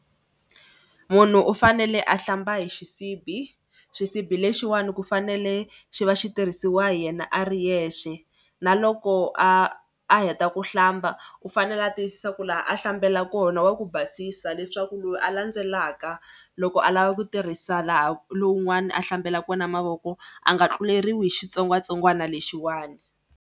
Munhu u fanele a hlamba hi xisibi. Xisibi lexiwani ku fanele xi va xi tirhisiwa hi yena a ri yexe na loko a a heta ku hlamba u fanele ya tiyisisa ku laha a hlambela kona wa ku basisa leswaku loyi a landzelaka loko a lava ku tirhisa laha lowun'wana a hlambela kona mavoko a nga tluleriwi hi xitsongwatsongwana lexiwani.